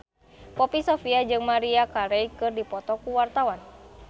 Poppy Sovia jeung Maria Carey keur dipoto ku wartawan